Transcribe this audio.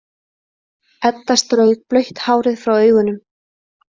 Edda strauk blautt hárið frá augunum.